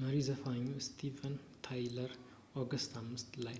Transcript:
መሪ ዘፋኙ ስቲቨን ታይለር ኦገስት 5 ላይ